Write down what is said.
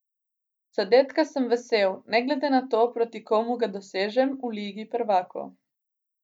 Zadetka sem vesel, ne glede na to, proti komu ga dosežem v Ligi prvakov.